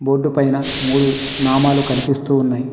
బొడ్డు పైన మూడు నామాలు కనిపిస్తూ ఉన్నాయి.